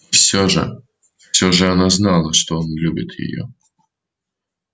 и всё же всё же она знала что он любит её